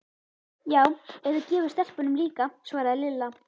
Já, ef þú gefur stelpunum líka svaraði Lilla.